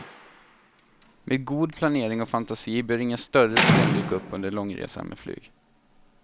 Med god planering och fantasi bör inga större problem dyka upp under långresan med flyg.